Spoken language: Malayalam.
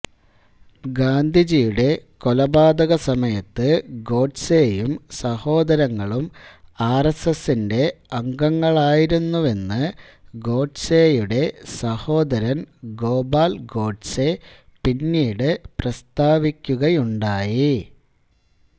ഗാന്ധിജിയുടെ കൊലപാതകസമയത്ത് ഗോഡ്സേയും സഹോദരങ്ങളും ആർ എസ്സ് എസ്സിന്റെ അംഗങ്ങളായിരുന്നുവെന്ന് ഗോഡ്സേയുടെ സഹോദരൻ ഗോപാൽ ഗോഡ്സേ പിന്നീട് പ്രസ്താവിക്കുകയുണ്ടായി